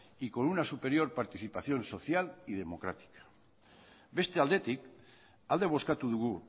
y con una superior participación social y democrática beste aldetik alde bozkatu dugu